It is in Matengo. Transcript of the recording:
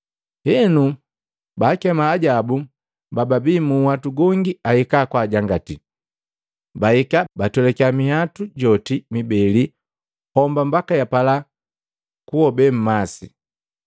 Henu baakema ajabu bababi mu nhwatu gongi ahika kwaajangati. Bahika, batwelakiya minhwatu joti mibeli homba mbaki yapala kuhobe mmasi.